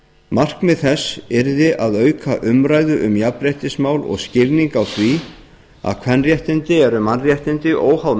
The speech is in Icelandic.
markmið þess yrði að auka umræðu um jafnréttismál og skilning á því að kvenréttindi eru mannréttindi óháð